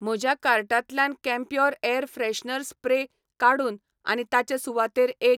म्हज्या कार्टांतल्यान Campure air freshener spray काडून आनी ताचे सुवातेर एक.